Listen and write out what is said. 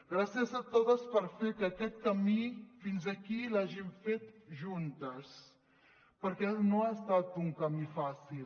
gràcies a totes per fer que aquest camí fins aquí l’hàgim fet juntes perquè no ha estat un camí fàcil